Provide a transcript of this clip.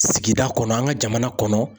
Sigida kɔnɔ, an ka jamana kɔnɔ.